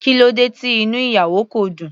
Kílódé tí inú ìyàwó kò dùn.